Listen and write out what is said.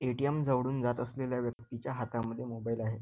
ATM जवळूनं जात असलेल्या व्यक्तीच्या हातात मोबाईल आहे.